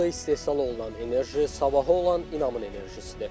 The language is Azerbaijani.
Burda istehsal olunan enerji sabahı olan inamın enerjisidir.